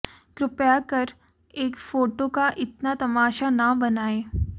कृपया कर एक फोटो का इतना तमाशा ना बनाएं